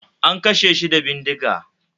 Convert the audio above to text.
An kashe shi da bindiga